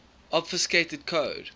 obfuscated code